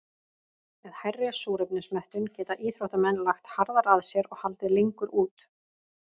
Með hærri súrefnismettun geta íþróttamenn lagt harðar að sér og haldið lengur út.